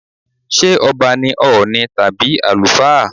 Ṣé ọba ní Ọ̀ọ̀ni tàbí àlùfáà?